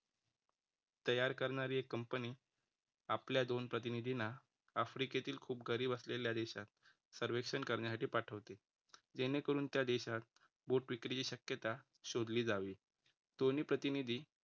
तयार करणारी एक कंपनी आपल्या दोन प्रतिनिधींना आफ्रिकेतील खूप गरीब असलेल्या देशात सर्वेक्षण करण्यासाठी पाठवते. जेणेकरून त्या देशात बोट विक्रीची शक्यता शोधली जावी. दोन्ही प्रतिनिधी